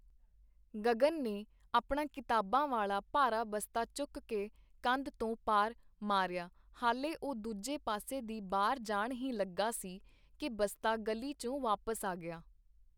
ਗਗਨ ਨੇ ਆਪਣਾ ਕਿਤਾਬਾਂ ਵਾਲਾ ਭਾਰਾ ਬਸਤਾ ਚੁੱਕਕੇ ਕੰਧ ਤੋਂ ਪਾਰ ਮਾਰਿਆ ਹਾਲੇ ਉਹ ਦੂਜੇ ਪਾਸੇ ਦੀ ਬਾਹਰ ਜਾਣ ਹੀ ਲੱਗਾ ਸੀ ਕੀ ਬਸਤਾ ਗਲੀ ਚੋ ਵਾਪਸ ਆ ਗਿਆ.